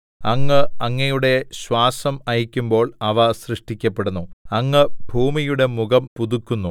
അങ്ങ് അങ്ങയുടെ ശ്വാസം അയയ്ക്കുമ്പോൾ അവ സൃഷ്ടിക്കപ്പെടുന്നു അങ്ങ് ഭൂമിയുടെ മുഖം പുതുക്കുന്നു